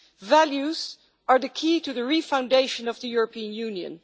Values are the key to the refoundation of the European Union.